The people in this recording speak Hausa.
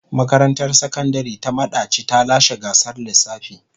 Makarantar Sakandare ta Madaci ta lashe gasar lissafi.